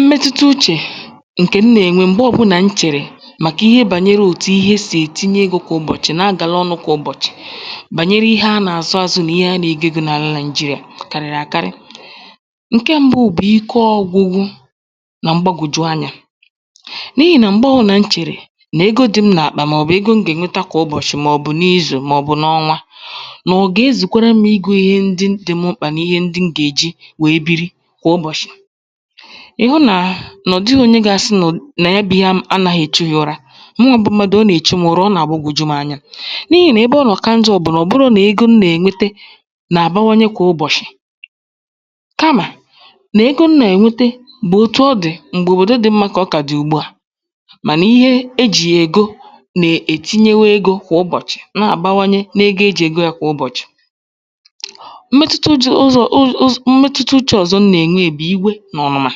mmetụta uchè, ǹkẹ̀ m nà ènwe m̀gbe ọbụnà m chẹ̀rẹ̀ màkà ihe bànyere òtù ihe sì ètinye egō kwà ụ̀bọ̀chị na agàla ọnụ̄ kwà ụ̀bọ̀chị, bànyere ihe a nà àzụ azụ, nà ihe a nà ègo ego n’àla Nàị̀jịrị̀à, kàrị̀rị àkarị. ǹkẹ mbụ bụ̀ ike ọgwụgwụ nà mgbagwòju anyā. n’ihì nà m̀gbe ọbụnà m chèrè nà ego dị m n’àkpà, mà ọ̀ bụ̀ ego m gà ènweta kwà ụbọ̀chị, mà ọ̀ bụ̀ izù, mà ọ̀ bụ n’ọnwa, n'ọ̀ gà ezùkwara m igō ihe ndị dị m mkpà, nà ịhẹ m gà èji wẹ̀ẹ biri kwà ụbọ̀chị. ị̀hụ nà nà ọ̀ dịghị̄ onye ga asị nà ya bụ ihe anāghi èchu ya ụra. mụwā bụ mmadù, o nà èchu mu ura, ọ nà àgbagòju m anya, n’ihì nà ebe ọ nọ̀ ka njọ̄ bụ̀ nà ọ̀ bụrọ̄ nà ego m nà ènwete nà àbawanye kwà ụbọ̀chị, kamà, nà ego m nà ènwete nà otu ọ dị m̀gbè òbòdo dị̀ mmā kà ọ ka dị̀ ùgbu à, mànà ihe e jì yà ègo nà è tinyewe egō kwà ụbọ̀chị̀, nà àbawanye n’ego ya e jì ègo ya kwà ụbọ̀chị̀. mmẹtụta ụzọ̀ ụzọ̀ mmẹtụta uchē ọ̀zọ m nà ẹ̀nwẹ bụ̀ iwe, nà ọ̀mụ̀mà.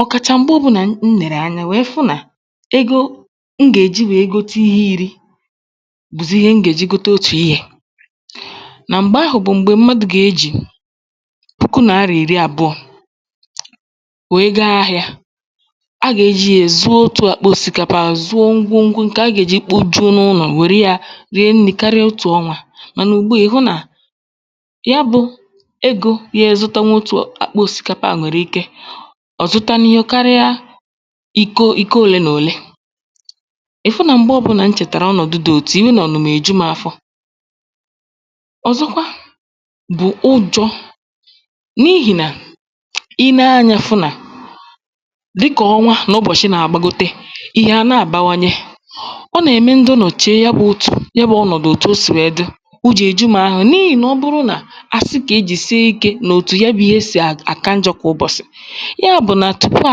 ọ̀ kàchà m̀gbe ọbụlà m nèrè anya wẹ fụ nà ego m gà è ji we gote ihe irī, bụ̀zị̀ ihe m gà èji gote otù ihē, nà m̀gbè ahụ̀ bụ̀ m̀gbè mmadù gà ejì puku Naịrà ìrị abụọ̄ we ga ahịā. a gà ejī ya sie otù àkpa òsìkapa, zụọ ngwongwo a gà èji kpojuo n’ụlọ̀ karịa otù ọnwā, mànà ùgbu à, ị̀ hụ nà, ya bụ ego ga azụtanwụ otù àkpa òsìkapa nwèrè ike ọ̀ zụta ihe karịa ìko òlee nà òlee. ị̀ fụ nà m̀gbe ọbụnà m chẹ̀tàrà ọnọ̀dụ dị òtu à, iwe nà ọ̀nụmà è ju m afọ. ọ̀zọkwa bụ̀ ụjọ̄, n’ihì nà ị nẹ anyā, fụ nà dịkà ọnwa nà ụbọ̀chị nà àgbagote, ihe à nà àbawanye. ọ nà ème ndị nọ̀ che ya bụ uchè, ya bụ̄ ọnọ̀dụ̀ òtù o sì wẹ dị, ụjọ̄ è ju m ahụ, n’ihì nà ọ bụrụ nà a sị kà e jìsi ikē nà òtù ya bụ̄ ihe sì àka njọ̄ kwà ụbọ̀chị̀, yà bụ̀ nà tupu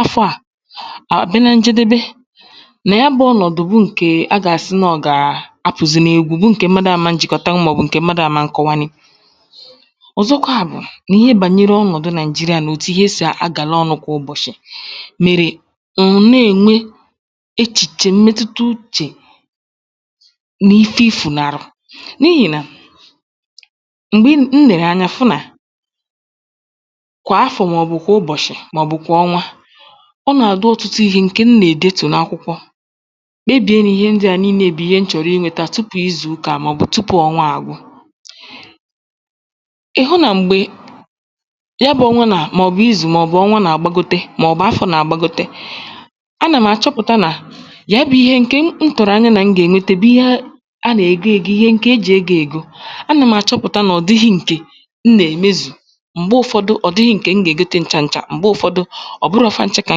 afọ̄ à bịa na njedebe, nà ya bụ̄ ọnọ̀dụ bụ ǹkè a gà àsị nà ọ gà apụ̀zị n’egwu, bụ̀ ǹkè mmadu a man jị̀kọtanwụ, mà ọ̀ bụ̀ mmadū a man kọwanwu. ọ̀zọkwà bụ̀ nà ihe bànyere ọnọ̀dụ Naị̀jịrịà, nà òtù ihe sì agàla ọnụ̄ kwà ụbọ̀chị̀, mèrè, mà ọ̀ nà ème echìchè mmẹtụta uchè na ifẹ ị fụ nà, n’ihì nà, m̀gbè ị nẹ̀rẹ̀ anya, fụ nà kwà afọ, mà ọ̀ bụ̀ kwà ụbọ̀chị, mà ọ̀ bụ̀ kwà ọnwa, ọ nà àbụ ọtụtụ ihē, ǹkè m nà èdetù n’akwụkwọ. kpebie na ihe ndịa n’ihẹ ndịà bụ̀ ihe m chọ̀rọ̀ imē, tupù ịzụ̀ ukā à, mà ọ̀ bụ̀ tupù ọnwa agwụ. ị̀ hụ nà m̀gbè, ya bụ̄ ọnwa, mà ọ̀ bụ̀ izù, mà ọ̀ bụ̀ afọ̀ nà àgbagote, a nà m̀ àchọpụ̀ta nà ya bụ̄ ihe, ǹkè m tụ̀rụ̀ anya y anà m gà ènwete, bụ ihe a nà ègo ego, ihe ǹkè e jì egō ègo, a nà m̀ àchọpụ̀ta nà ọ̀ dighī ǹkè m nà èmezù, m̀gbẹ ụfọdụ, ọ̀ dịghị̄ ǹkè m nà ègote ncha ncha, m̀gbe ụfọdụ, ọ̀ bụrọ̄ fanchā kà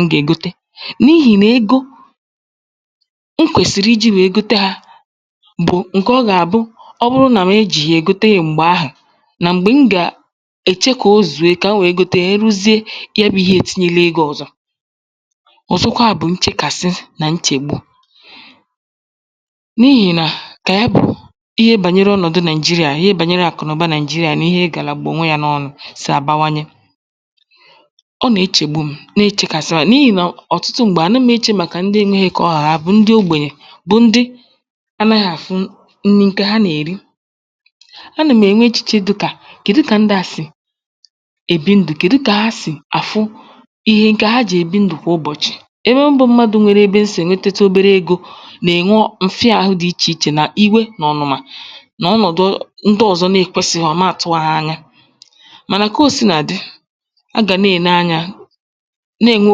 m gà ègote, n’ihī nà ego m kwẹ̀sị̀rị̀ ijī wèe gote hā bụ̀ ǹkè ọ gà àbụ, ọ bụ nà m ejìghì yà gote m̀gbè ahụ̀, nà m̀gbè m gà èche kà o zùe kà m wẹ̀ẹ gote ya, m ruzie, ya bụ ihe ètinyele egō ọ̀zọ. ọ̀zọkwà bụ̀ nchekàsị nà nchègbu, n’ihì nà ihe bànyere ọnọ̀dụ Naị̀jịrị̀à, ihe bànyere àkụ̀nụ̀ba Naị̀jịrị̀à nà ihe gàlàgbulù onwē ya sì àbawanye, ọ nà ẹchẹ̀gbu m, na ẹchẹ̀kasị m, n’ihì nà ọ̀tụtụ m̀gbè, à na m echè màkà ndị enwehe ka ọ ha hạ, mà ndị ogbènye, mà ndị anaghī àfụ nri ha nà èri. a nà m̀ ènwe echìche dịkà, kẹ̀du kà ndị à sì èbi ndụ̀, kèdu kà ha sì àfụ ihe, ǹkè ha jì èbi ndụ̀ kwà ụbọ̀chị. ebe m bụ mmadū sì ènwete obere egō nà ènwe mfịa ahụ dị ichè ichè, mà iwe nà ọ̀nụ̀mà, nà ọnọ̀dụ ndi ọzọ ekwèsịhọ, nà àtụghọkwa anyạ. mànà kà o sinà dị, a gà nà ène anyā, nà ènwe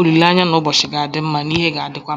olìlèanya nà ụbọ̀chị ga àdị mmā, na ihe ga adikwa.